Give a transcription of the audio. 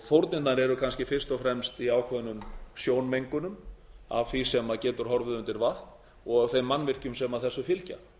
fórnirnar eru kannski fyrst og fremst í ákveðnum sjónmengun af því sem getur horfið undir vatn og þeim mannvirkjum sem þessu fylgja